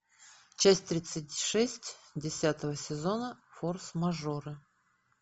часть тридцать шесть десятого сезона форс мажоры